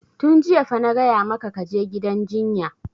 Tun jiya fa na gaya maka ka je gidan jinya!